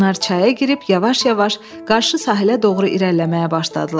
Onlar çaya girib yavaş-yavaş qarşı sahilə doğru irəliləməyə başladılar.